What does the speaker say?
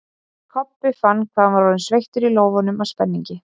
Kobbi fann að hann var orðinn sveittur í lófunum af spenningi.